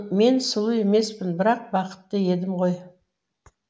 мен сұлу емеспін бірақ бақытты едім ғой